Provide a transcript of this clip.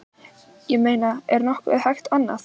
Ég meina er nokkuð hægt annað?